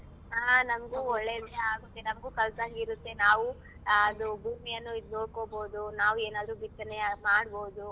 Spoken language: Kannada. ಹಾ ನಮ್ಗು ಒಳ್ಳೇದೇ ಆಗತ್ತೆ ನಮ್ಗು ಕಲ್ತಂಗಿರತ್ತೆ ನಾವು ಅದು ಭೂಮಿಯನ್ನು ಇದ್ ನೋಡ್ಕೊಬೋದು ನಾವು ಏನಾದ್ರೂ ಬಿತ್ತನೆಯ ಮಾಡ್ಬೋದು.